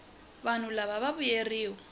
vanhu lava va vuyeriwa